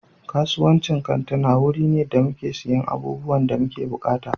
Kasuwancin kantuna wuri ne da muke siyan abubuwan da muke buƙata.